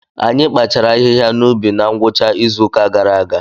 Anyị kpachaara ahịhịa n’ubi na ngwụcha izu ụka gara aga.